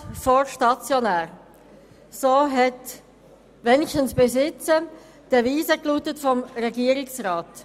Ambulant vor stationär» – so lautete zumindest bisher die Devise des Regierungsrats.